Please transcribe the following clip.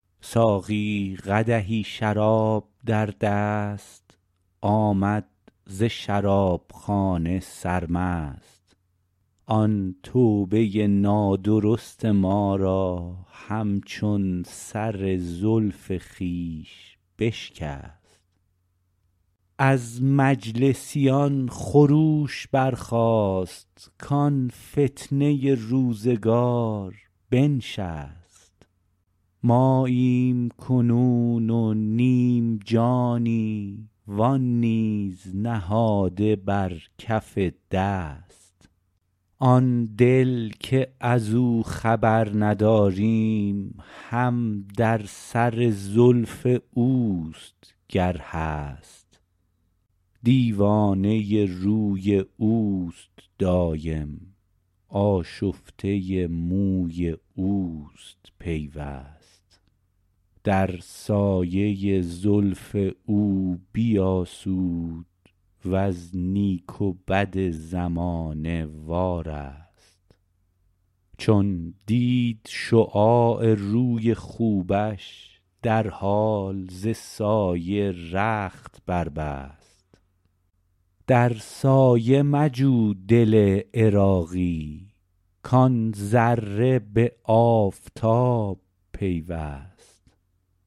ساقی قدحی شراب در دست آمد ز شراب خانه سرمست آن توبه نادرست ما را همچون سر زلف خویش بشکست از مجلسیان خروش برخاست کان فتنه روزگار بنشست ماییم کنون و نیم جانی و آن نیز نهاده بر کف دست آن دل که ازو خبر نداریم هم در سر زلف اوست گر هست دیوانه روی اوست دایم آشفته موی اوست پیوست در سایه زلف او بیاسود وز نیک و بد زمانه وارست چون دید شعاع روی خوبش در حال ز سایه رخت بربست در سایه مجو دل عراقی کان ذره به آفتاب پیوست